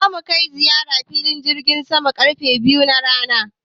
Za mu kai ziyara filin jirgin saman karfe biyu na rana.